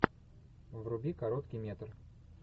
вруби короткий метр